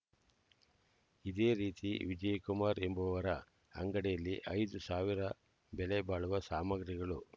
ಇದೇ ರೀತಿ ವಿಜಯಕುಮಾರ್ ಎಂಬುವರ ಅಂಗಡಿಯಲ್ಲಿ ಐದು ಸಾವಿರ ಬೆಲೆ ಬಾಳುವ ಸಾಮಗ್ರಿಗಳು